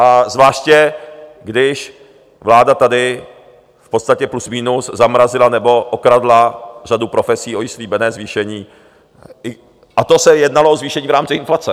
A zvláště když vláda tady v podstatě plus minus zamrazila nebo okradla řadu profesí o slíbené zvýšení, a to se jednalo o zvýšení v rámci inflace.